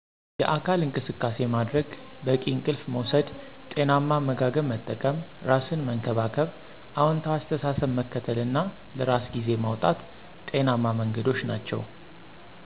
የአካል እንቅሰቃሴ ማድረግ፣ በቂ እንቅልፍ መውሰድ፣ ጤናማ አመጋገብ መጠቀም፣ ራሰን መንከባከብ፣ አውንታዊ አሰተሳሰብ መከተል እና ለራሰ ግዜ ማውጣት ጤናማ መንገዶች ናቸዉ።